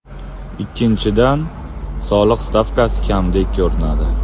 Ikkinchidan, soliq stavkasi kamdek ko‘rinadi.